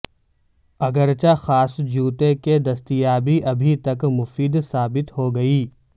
اگرچہ خاص جوتے کی دستیابی ابھی تک مفید ثابت ہوگی